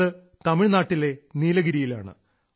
അത് തമിഴ്നാട്ടിലെ നീലഗിരിയിലാണ്